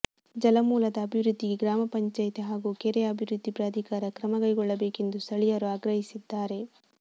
ಜಲಮೂಲದ ಅಭಿವೃದ್ಧಿಗೆ ಗ್ರಾಮ ಪಂಚಾಯಿತಿ ಹಾಗೂ ಕೆರೆ ಅಭಿವೃದ್ಧಿ ಪ್ರಾಧಿಕಾರ ಕ್ರಮ ಕೈಗೊಳ್ಳಬೇಕು ಎಂದು ಸ್ಥಳೀಯರು ಆಗ್ರಹಿಸಿದ್ದಾರೆ